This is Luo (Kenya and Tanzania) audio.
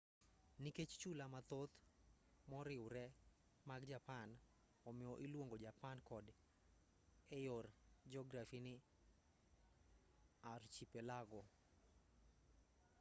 nikech chula mathoth moriwree mag japan omiyo iluongo japan kod eyor jografi ni archipelago